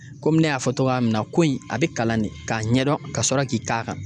Komi ne y'a fɔ togoya min na koyi a bɛ kalan de k'a ɲɛdɔn ka sɔrɔ k'i k'a kan.